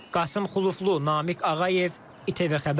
Qasım Xuluflu, Namiq Ağayev, ITV Xəbər.